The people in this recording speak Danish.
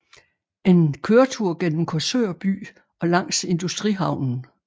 En køretur gennem Korsør by og langs industrihavnen